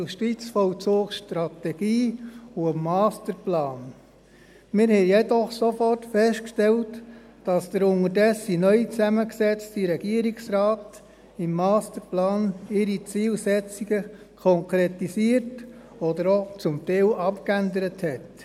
Wir haben jedoch sofort festgestellt, dass der inzwischen neu zusammengesetzte Regierungsrat seine Zielsetzungen im Masterplan konkretisiert oder auch teilweise abgeändert hat.